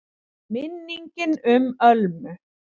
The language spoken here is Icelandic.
MINNINGIN UM ÖLMU